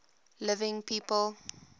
living people